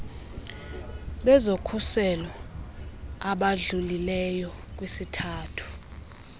bezokhuseleko abadlulileyo kwisithathu